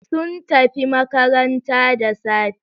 Sun tafi makaranta da safe.